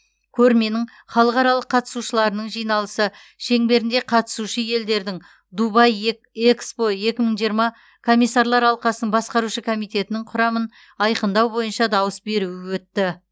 көрменің халықаралық қатысушыларының жиналысы шеңберінде қатысушы елдердің дубай эк экспо екі мың жиырма комиссарлар алқасының басқарушы комитетінің құрамын айқындау бойынша дауыс беруі өтті